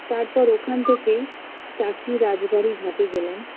তারপর ওখান থেকে টাকি রাজবারি ঘাটে গেলাম